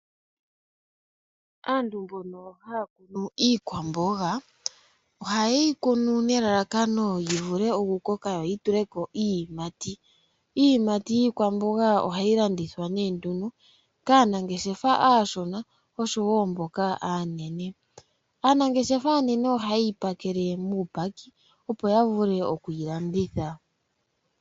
Aantu mbono haya kunu iikwamboga ohaye yi kunu nelalakano yi vule okukoka yo yi tule koo iiyimati. Iiyimati yiikwamboga ohayi landithwa nee nduno kaanangeshefa aashona oshowo mboka aanene. Aanangeshefa aanene ohaye yi pakele muupaki opo ya vule okuyi landitha.